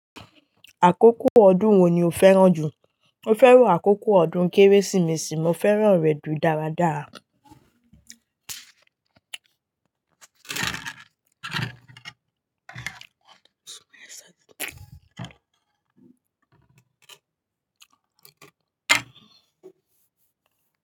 Àkókò ọdún wo ni o fẹ́ràn jù? Mo fẹ́ràn àkókò ọdún Kérésìmesì. Mo fẹ́ràn rẹ̀ ju dáradára.